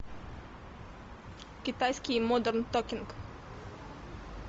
китайский модерн токинг